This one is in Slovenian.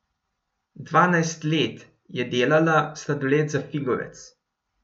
Dvanajst let je delala sladoled za Figovec.